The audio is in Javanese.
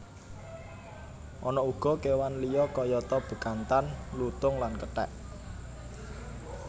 Ana uga kewan liya kayata bekantan lutung lan kethek